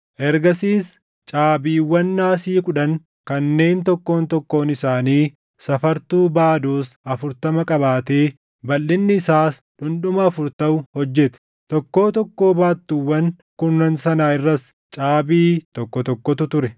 Ergasiis caabiiwwan naasii kudhan kanneen tokkoon tokkoon isaanii safartuu baadoos afurtama qabaatee balʼinni isaas dhundhuma afur taʼu hojjete; tokkoo tokkoo baattuuwwan kurnan sanaa irras caabii tokko tokkotu ture.